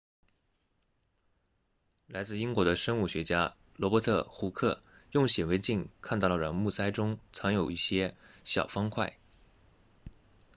来自英国的生物学家罗伯特胡克 robert hooke 用显微镜看到了软木塞中藏有一些小方块